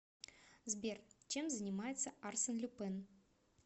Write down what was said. сбер чем занимается арсен люпен